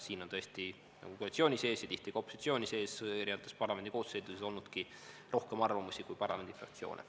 Siin on tõesti koalitsioonis ja tihti ka opositsioonis parlamendi eri koosseisudes olnud rohkem arvamusi, kui on parlamendifraktsioone.